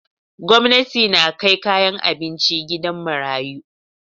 Gwamnati na kai kayan abinci gidan marayu.